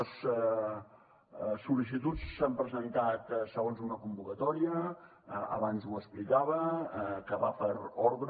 les sol·licituds s’han presentat segons una convocatòria abans ho explicava que va per ordre